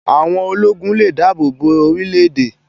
Áwón ólógún lé dàábó bó órilè édè